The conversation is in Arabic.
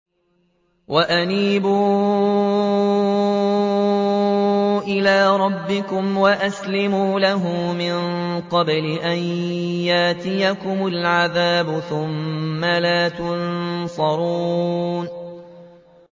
وَأَنِيبُوا إِلَىٰ رَبِّكُمْ وَأَسْلِمُوا لَهُ مِن قَبْلِ أَن يَأْتِيَكُمُ الْعَذَابُ ثُمَّ لَا تُنصَرُونَ